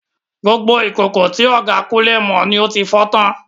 Gbogbo ìkòkò tí ọ̀gá Kunle mọ ni ó fi fọ́ tán.